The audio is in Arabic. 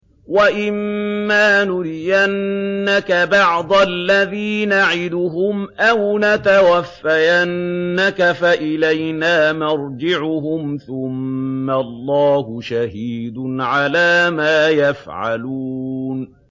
وَإِمَّا نُرِيَنَّكَ بَعْضَ الَّذِي نَعِدُهُمْ أَوْ نَتَوَفَّيَنَّكَ فَإِلَيْنَا مَرْجِعُهُمْ ثُمَّ اللَّهُ شَهِيدٌ عَلَىٰ مَا يَفْعَلُونَ